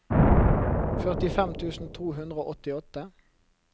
førtifem tusen to hundre og åttiåtte